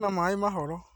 Kwĩna maĩ mahoro